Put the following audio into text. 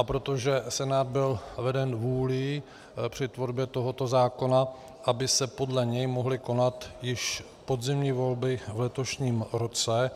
A protože Senát byl veden vůlí při tvorbě tohoto zákona, aby se podle něj mohly konat již podzimní volby v letošním roce,